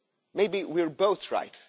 Maybe we are both right.